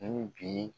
Ni bi